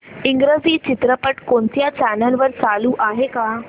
इंग्रजी चित्रपट कोणत्या चॅनल वर चालू आहे का